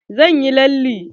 Zan yi lalle.